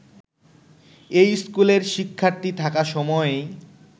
এই স্কুলের শিক্ষার্থী থাকা সময়েই